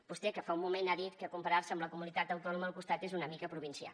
vostè que fa un moment ha dit que comparar se amb la comunitat autònoma del costat és una mica provincià